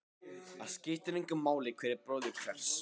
Það skiptir engu máli hver er bróðir hvers.